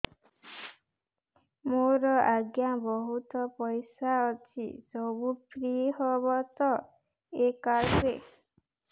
ମୋର ଆଜ୍ଞା ବହୁତ ପଇସା ଅଛି ସବୁ ଫ୍ରି ହବ ତ ଏ କାର୍ଡ ରେ